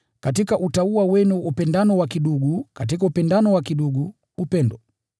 katika utauwa, upendano wa ndugu; na katika upendano wa ndugu, upendo.